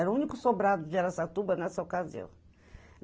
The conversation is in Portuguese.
Era o único sobrado de Araçatuba nessa ocasião.